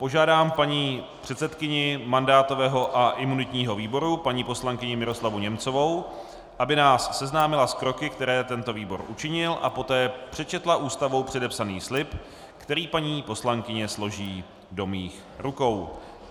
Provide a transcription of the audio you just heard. Požádám paní předsedkyni mandátového a imunitního výboru, paní poslankyni Miroslavu Němcovou, aby nás seznámila s kroky, které tento výbor učinil, a poté přečetla Ústavou předepsaný slib, který paní poslankyně složí do mých rukou.